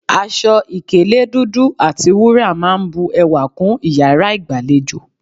Aṣọ ìkélé dúdú àti wúrà máa n bu ewà kún iyàrá ìgbàlejò